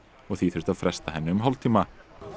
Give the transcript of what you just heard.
og því þurfti að fresta henni um hálftíma